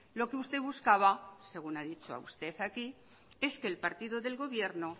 lo que usted buscaba según ha dicho usted aquí es que el partido del gobierno